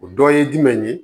O dɔ ye jumɛn ye